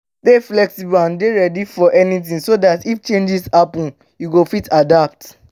stay flexible and dey ready for anything so dat if changes happen you go fit adapt